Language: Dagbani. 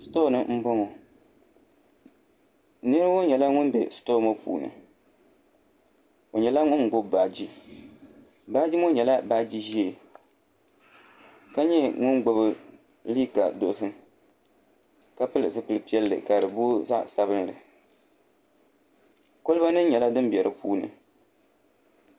Sitoo ni n boŋo nira ŋo nyɛla ŋun bɛ sitoo ŋo puuni o nyɛla ŋun gbubi baaji baaji ŋo nyɛla baaji ʒiɛ ka nyɛ ŋun gbubi liiga dozim ka pili zipili piɛlli ka di booi zaɣ sabinli kolba nim nyɛla din bɛ di puuni